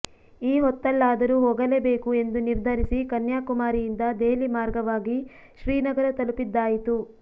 ಈ ಹೊತ್ತಲ್ಲಾದರೂ ಹೋಗಲೇಬೇಕು ಎಂದು ನಿರ್ಧರಿಸಿ ಕನ್ಯಾಕುಮಾರಿಯಿಂದ ದೆಹಲಿ ಮಾರ್ಗವಾಗಿ ಶ್ರೀನಗರ ತಲುಪಿದ್ದಾಯಿತು